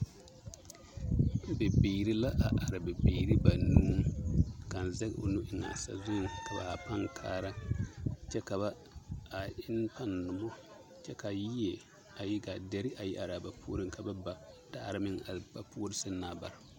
Bibiiri la a are, bibiiri banuu, kaŋ zɛge o nu eŋaa sazuŋ ka ba haa pãã kaara kyɛ ba enne pãã nomɔ ka yie, deri a yi araa ba puoriŋ ka ba ba daare ba puori seŋ na bare.